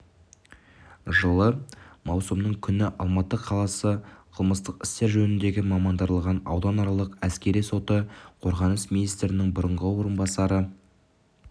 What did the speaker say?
жылы маусымның күні алматы қаласы қылмыстық істер жөніндегі мамандандырылған ауданаралық әскери соты қорғаныс министрінің бұрынғы орынбасары